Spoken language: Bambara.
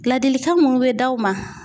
Ladilikan munnu bɛ d'aw ma.